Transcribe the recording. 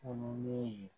Fununnen